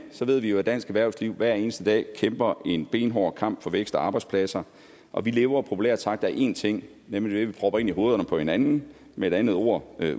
ved vi jo at dansk erhvervsliv hver eneste dag kæmper en benhård kamp for vækst og arbejdspladser og vi lever populært sagt af én ting nemlig det vi propper ind i hovederne på hinanden med et andet ord